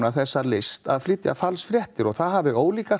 þessa list að flytja falsfréttir og það hafi